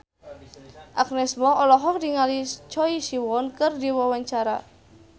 Agnes Mo olohok ningali Choi Siwon keur diwawancara